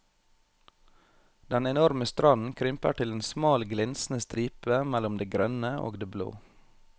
Den enorme stranden krymper til en smal glinsende stripe mellom det grønne og det blå.